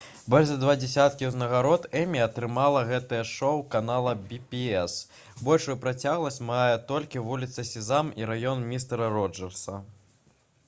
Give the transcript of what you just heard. больш за два дзесяткі ўзнагарод «эмі» атрымала гэтае шоу канала «пі-бі-эс». большую працягласць мае толькі «вуліца сезам» і «раён містэра роджэрса»